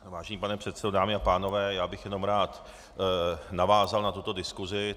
Vážený pane předsedo, dámy a pánové, já bych jenom rád navázal na tuto diskusi.